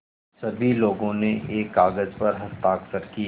सभी लोगों ने एक कागज़ पर हस्ताक्षर किए